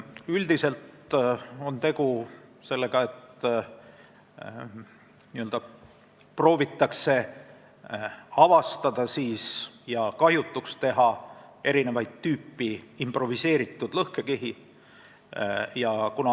Üldiselt on tegu sellega, et proovitakse erinevat tüüpi improviseeritud lõhkekehi avastada ja kahjutuks teha.